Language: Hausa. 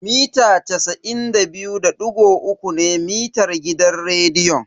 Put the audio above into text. Mita casa'in da biyu da digo uku ne mitar gidan rediyon.